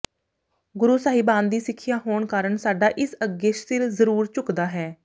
ਗੁਰੂ ਸਾਹਿਬਾਨ ਦੀ ਸਿੱਖਿਆ ਹੋਣ ਕਾਰਨ ਸਾਡਾ ਇਸ ਅੱਗੇ ਸਿਰ ਜ਼ਰੂਰ ਝੁਕਦਾ ਹੈ